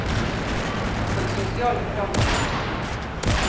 På det sosiale plan er det vanskelig.